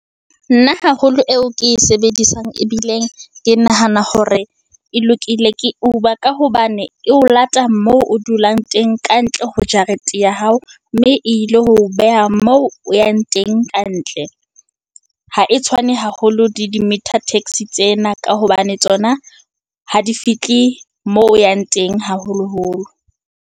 Nna haholo eo ke e sebedisang ebileng ke nahana hore e lokile ke Uber, ka hobane e o lata moo o dulang teng, kantle ho jarete ya hao, mme ilo ho beha moo o yang teng kantle. Ha e tshwane haholo le di-meter-taxi tsena, ka hobane tsona ha di fihle moo o yang teng haholoholo.